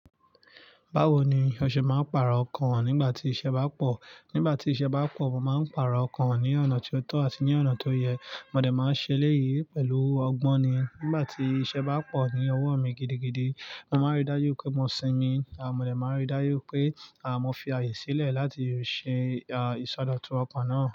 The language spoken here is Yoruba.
Báwo ni ọṣẹ máa ń pààrọ̀ ọkàn nígbà tí iṣẹ́ bá pọ̀? Nígbà tí iṣẹ́ bá pọ̀, mo máa ń pààrọ̀ ọkàn ní ọ̀nà tí ó tọ́ àti ní ọ̀nà tó yẹ. Mọ̀ dẹ́ máa ń ṣe léyìí pẹ̀lú ọgbọ́nni. Nígbà tí iṣẹ́ bá pọ̀ ní ọwọ́ mi gidigidi, mo máa ń rí dájú pé mo sinmi àmọ́ mọ̀dẹ́ máa ń rí dájú pé, à, mo fi ààyè sílẹ̀ láti ṣe, à, ìsọdọ̀tun ọkàn náà.